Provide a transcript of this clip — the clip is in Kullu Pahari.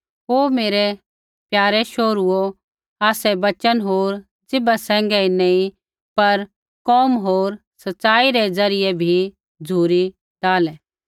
ओ मेरै प्यारै शोहरूओ आसै वचन होर जीभा सैंघै ही नैंई पर कोम होर सच़ाई रै ज़रियै भी झ़ुरी डाहलै